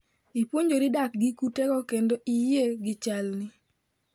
Ipuonjri dak gi kutego kendo iyie gi chalni"